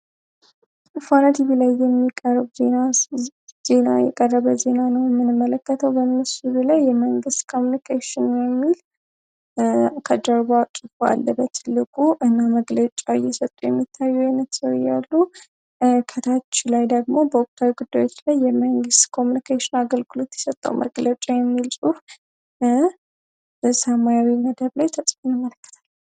ፎonaቲ ቭ ላይ የሚረ ዜና የቀረበ ዜና ኖምን መለከተው በምስዱ ላይ የመንግስት cሚncaሽn ሚል ከጀርቧ ጭፎ አለበት ትልጉ እና መግለጫ የሰጡ የሚታዩ የነትስው ያሉ ከታች ላይ ደግሞ በኦክታዊ ግዳዎች ላይ የመንግስት ኮሚኒctn አገልክሉት ይሰጣው መግለጫ የሚል ጽሑፍ sማr ነደብ ላይ ተጽኙ መለከተ